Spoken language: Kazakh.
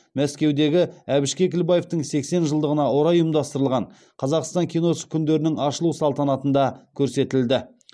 мәскеудегі әбіш кекілбаевтың сексен жылдығына орай ұйымдастырылған қазақстан киносы күндерінің ашылу салтанатында көрсетілді